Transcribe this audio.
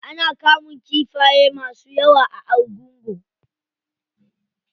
Ana kamun kifaye masu yawa a argungu.